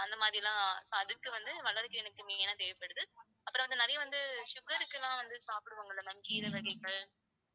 அந்த மாதிரிலாம் so அதுக்கு வந்து வல்லாரைக்கீரை எனக்கு main ஆ தேவைப்படுது. அப்புறம் வந்து, நிறைய வந்து sugar க்கு எல்லாம் வந்து சாப்பிடுவாங்கல்ல ma'am கீரை வகைகள்